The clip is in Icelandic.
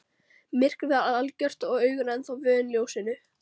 Myrkrið var algjört og augun ennþá vön ljósinu.